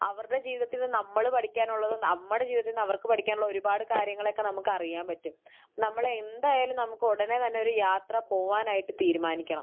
അവരുടെ ജീവിതത്തിൽ നിന്ന് നമ്മൾ പഠിക്കാനുള്ളതും നമ്മുടെ ജീവിതത്തിൽ നിന്ന് അവർക്ക് പഠിക്കാനുള്ളതും ഒരുപാട് കാര്യങ്ങളൊക്കെ നമുക്ക് അറിയാൻ പറ്റും. നമ്മൾ എന്തായാലും നമുക്ക് ഉടനെ തന്നെ ഒരു യാത്ര പോവാനായിട്ട് തീരുമാനിക്കണം.